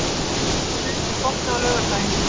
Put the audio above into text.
Funi, er bolti á laugardaginn?